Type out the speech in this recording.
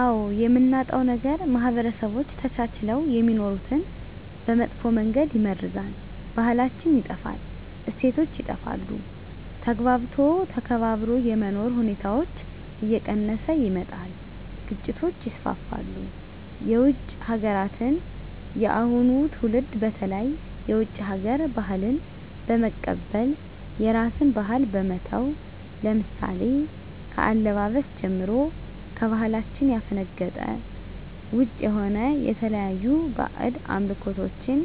አዎ የምናጣው ነገር ማህበረሰቦች ተቻችለው የሚኖሩትን በመጥፎ መንገድ ይመርዛል , ባህላችን ይጠፋል, እሴቶች ይጠፋሉ, ተግባብቶ ተከባብሮ የመኖር ሁኔታዎች እየቀነሰ ይመጣል ግጭቶች ይስፋፋሉ። የውጭ ሀገራትን የአሁኑ ትውልድ በተለይ የውጭ ሀገር ባህልን በመቀበል የራስን ባህል በመተው ለምሳሌ ከአለባበስ ጀምሮ ከባህላችን ያፈነገጠ ውጭ የሆነ የተለያዩ ባህድ አምልኮቶችን